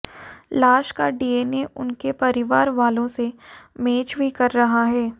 लाश का डीएनए उनके परिवारवालों से मैच भी कर रहा है